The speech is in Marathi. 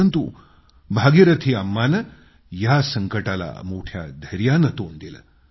परंतु भागीरथी अम्माने या संकटाला मोठ्या धैर्यानं तोंड दिलं